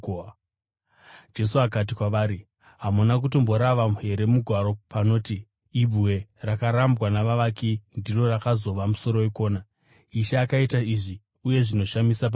Jesu akati kwavari, “Hamuna kutomborava here muMagwaro panoti: “ ‘Ibwe rakarambwa navavaki ndiro rakazova musoro wekona. Ishe aita izvi, uye zvinoshamisa pamberi pedu’?